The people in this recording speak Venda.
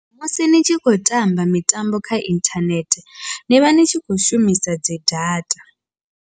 Musi ni tshi khou tamba mitambo kha inthanethe nivha ni tshi kho shumisa dzi data.